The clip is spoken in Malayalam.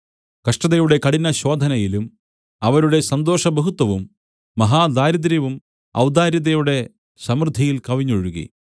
കഷ്ടതയുടെ കഠിന ശോധനയിലും അവരുടെ സന്തോഷബഹുത്വവും മഹാദാരിദ്ര്യവും ഔദാര്യതയുടെ സമൃദ്ധിയിൽ കവിഞ്ഞൊഴുകി